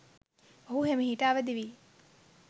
ඔහු හෙමිහිට අවදි වී